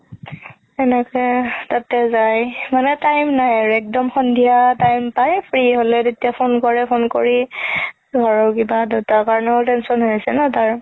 সেনেকে তাতে যাই মানে time নাই আৰু একদম সন্ধিয়া time পাই free হ'লে তেতিয়া phone কৰে phone কৰি ধৰ কিবা দেউতা কাৰণেও tension হৈ আছে ন তাৰ